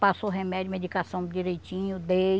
Passou remédio e medicação direitinho, dei.